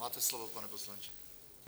Máte slovo, pane poslanče.